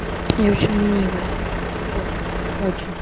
я очень ленивая вот очень